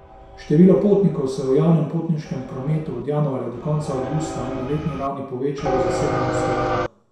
Število potnikov se je v javnem potniškem prometu od januarja do konca avgusta na letni ravni povečalo za sedem odstotkov.